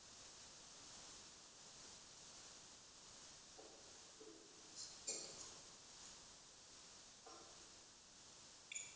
HEIMAMENN ERU KOMNIR YFIR EFTIR MARK FRÁ VARAMANNINUM GUNNARI MÁ GUÐMUNDSSYNI!!